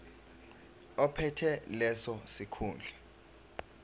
ophethe leso sikhundla